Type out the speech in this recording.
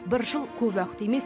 бір жыл көп уақыт емес